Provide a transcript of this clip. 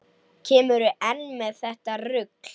Kemurðu enn með þetta rugl!